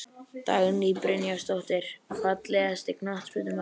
Dagný Brynjarsdóttir Fallegasti knattspyrnumaðurinn?